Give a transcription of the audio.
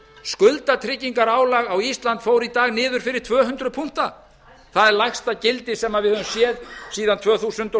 skuldatryggingarálag á ísland fór í dag niður fyrir tvö hundruð punkta það er lægsta gildi sem við höfum séð síðan tvö þúsund og